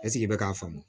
Ɛseke i bɛ k'a fɔ